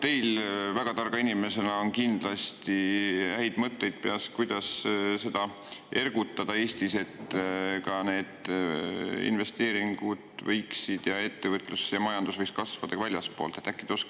Teil väga targa inimesena on kindlasti häid mõtteid, kuidas seda ergutada Eestis, et investeeringud, ettevõtlus ja majandus võiksid kasvada ka väljaspool.